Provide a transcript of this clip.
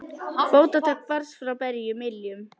Fótatak barst frá berum iljum.